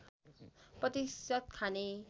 प्रतिशत खाने